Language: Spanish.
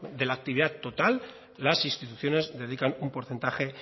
de la actividad total las instituciones dedican un porcentaje